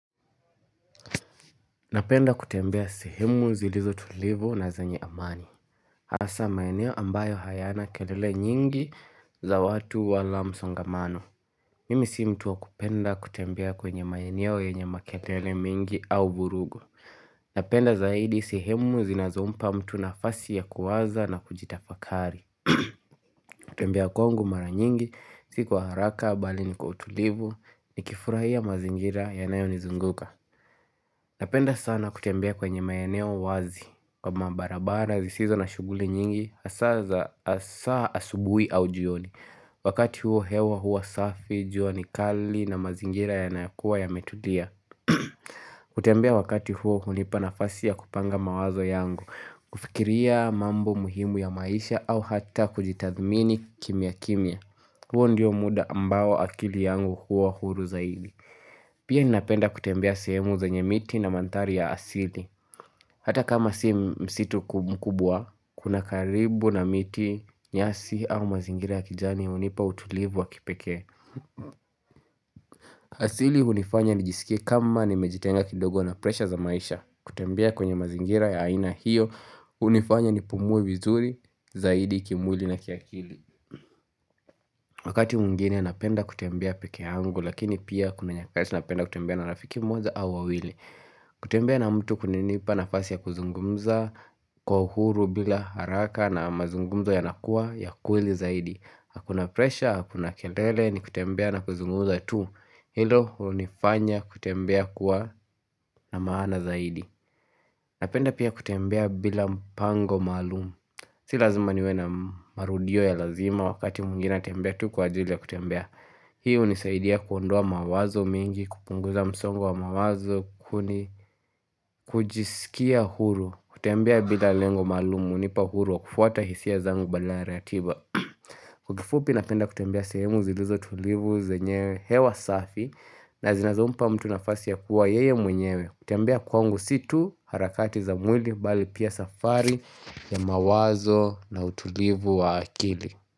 Napenda kutembea sehemu zilizotulivu na zenye amani. Asa maeneo ambayo hayana kelele nyingi za watu wala msongamano. Mimi si mtuwa kupenda kutembea kwenye maeneo yenye makelele mingi au vurugu. Napenda zaidi sehemu zinazompa mtu na fasi ya kuwaza na kujitafakari. Kutembea kwangu mara nyingi, sikwaharaka bali ni kwa utulivu, ni kifurahia mazingira yanayo nizunguka. Napenda sana kutembea kwenye maeneo wazi kwa mabarabara zisizo na shuguli nyingi asaza asubui aujioni wakati huo hewa hua safi, juanikali na mazingira yanayakua ya metulia. Kutembea wakati huo hunipanafasi ya kupanga mawazo yangu, kufikiria mambo muhimu ya maisha au hata kujitathmini kimia kimia. Huo ndio muda ambao akili yangu huwa huru zaidi Pia ni napenda kutembea semu za nye miti na mandhari ya asili Hata kama si msitu kubwa Kuna karibu na miti nyasi au mazingira ya kijani unipa utulivu wa kipekee asili unifanya ni jisikie kama ni mejitenga kidogo na presha za maisha kutembea kwenye mazingira ya aina hiyo unifanya ni pumue vizuri zaidi kimwili na kiakili Wakati mwingine napenda kutembea pekeangu lakini pia kuna nyakati napenda kutembea na rafiki mmoja au wawili kutembea na mtu kunanipa na fasi ya kuzungumza kwa uhuru bila haraka na mazungumzo ya nakuwa ya kweli zaidi Hakuna presha, hakuna kelele ni kutembea na kuzungumza tu Hilo unifanya kutembea kuwa na maana zaidi Napenda pia kutembea bila mpango maalumu Si lazima niwena marudio ya lazima wakati mwingine natembea tu kwa ajili ya kutembea Hii unisaidia kuondoa mawazo mengi, kupunguza msongo wa mawazo, kuni kujisikia huru kutembea bila lengo maalumu, unipa huru wa kufuata hisia zangu badala ya ratiba Kwa kifupi napenda kutembea sehemu zilizo tulivu, zenyewe, hewa safi na zinazompa mtu nafasi ya kuwa yeye mwenyewe kutembea kwangu situ harakati za mwili bali pia safari ya mawazo na utulivu wa akili.